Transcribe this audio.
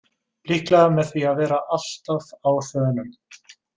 Líklega með því að vera alltaf á þönum.